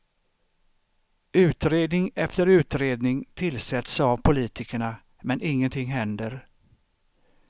Utredning efter utredning tillsätts av politikerna men ingenting händer.